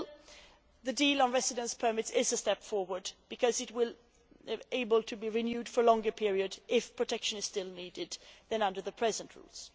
Nevertheless, the deal on residence permits is a step forward because it will be possible to renew it for longer periods, if protection is still needed, than under the present rules.